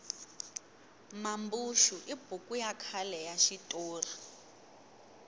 mambuxu i buku ya khale ya xitori